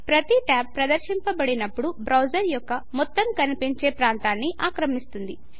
ప్రతి ట్యాబు ప్రదర్శింపబడినప్పుడు బ్రౌజరు యొక్క మొత్తం కనిపించే ప్రాంతాని ఆక్రమిస్తుంది